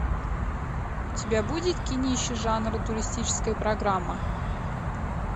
у тебя будет кинище жанр туристическая программа